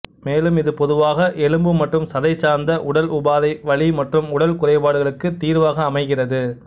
மேலும் இது பொதுவாக எலும்பு மற்றும் சதை சார்ந்த உடல் உபாதை வலி மற்றும் உடல் குறைபாடுகளுக்கு தீர்வாக அமைகிறது